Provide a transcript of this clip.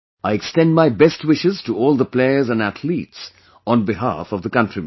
I extend my best wishes to all the players and athletes on behalf of the countrymen